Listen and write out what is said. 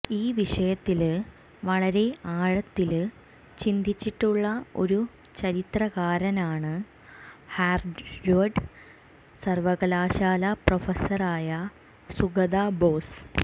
ഈ വിഷയത്തില് വളരെ ആഴത്തില് ചിന്തിച്ചിട്ടുള്ള ഒരു ചരിത്രകാരനാണ് ഹാര്വാഡ് സര്വകാലശാല പ്രൊഫസറായ സുഗത ബോസ്